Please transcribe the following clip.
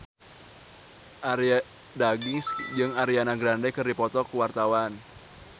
Arie Daginks jeung Ariana Grande keur dipoto ku wartawan